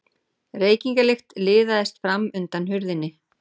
Reykingalykt liðaðist fram undan hurðinni.